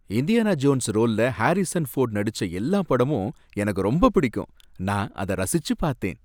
Indiana Jones ரோல்ல Harrison Ford நடிச்ச எல்லா படமும் எனக்கு ரொம்ப பிடிக்கும், நான் அத ரசிச்சு பார்த்தேன்.